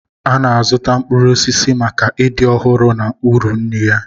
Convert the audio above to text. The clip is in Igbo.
A na-azụta mkpụrụ osisi maka ịdị ọhụrụ na uru nri ya.